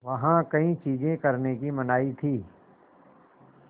वहाँ कई चीज़ें करने की मनाही थी